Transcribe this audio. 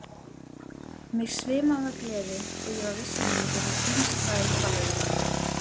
Mig svimaði af gleði og ég var viss um að ég yrði heimsfræg ballerína.